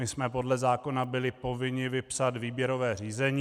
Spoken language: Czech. My jsme podle zákona byli povinni vypsat výběrové řízení.